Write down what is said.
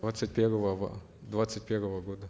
двадцать первого двадцать первого года